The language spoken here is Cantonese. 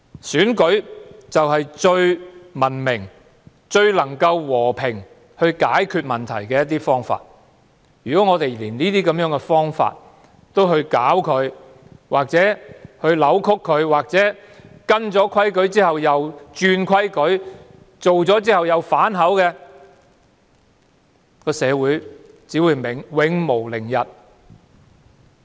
選舉是最文明和最和平的解決問題方法，如果連這種方法也遭人搞亂或扭曲，訂下規矩後又輕率更改，反口覆舌的話，社會只會永無寧日。